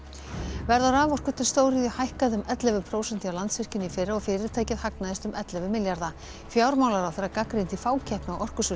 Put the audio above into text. verð á raforku til stóriðju hækkaði um ellefu prósent hjá Landsvirkjun í fyrra og fyrirtækið hagnaðist um ellefu milljarða fjármálaráðherra gagnrýndi fákeppni á